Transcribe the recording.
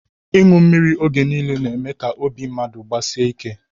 Inu mmiri oge nille na eme ka obi mmadu gbasie ike